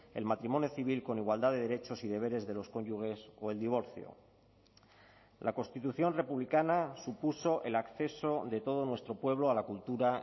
el matrimonio civil con igualdad de derechos y deberes de los cónyuges o el divorcio la constitución republicana supuso el acceso de todo nuestro pueblo a la cultura